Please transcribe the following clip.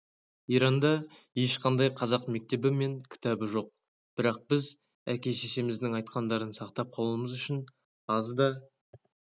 иранда ешқандай қазақ мектебі мен кітабы жоқ бірақ біз әке-шешеміздің айтқандарын сақтап қалуымыз үшін аз да